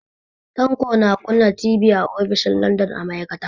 Tanko na kunna TV a ofishin Ladan a ma'aikata.